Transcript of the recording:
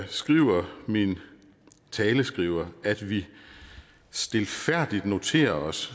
skriver min taleskriver at vi stilfærdigt noterer os